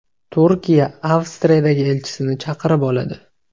Turkiya Avstriyadagi elchisini chaqirib oladi.